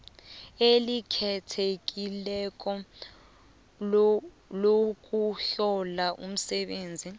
elikhethekileko lokuhlola umsebenzi